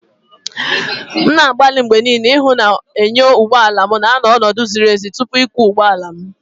M na-agbalị mgbe niile ịhụ na enyo ụgbọ ala m nọ n'ọnọdụ ziri ezi tupu ịkwọ ụgbọala.